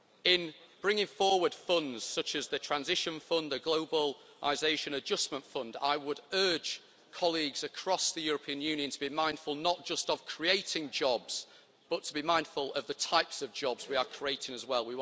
In bringing forward funds, such as the Transition Fund and the Globalisation Adjustment Fund, I would urge colleagues across the European Union to be mindful not just of creating jobs, but to be mindful of the types of jobs we are creating as well.